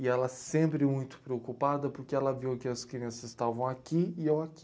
E ela sempre muito preocupada, porque ela viu que as crianças estavam aqui e eu aqui.